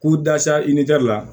K'u dasa i ni la